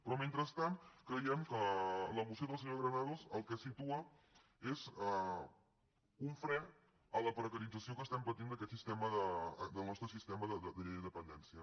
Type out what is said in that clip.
però mentrestant creiem que la moció de la senyora granados el que situa és un fre a la precarització que patim d’aquest sistema del nostre sistema de la llei de dependència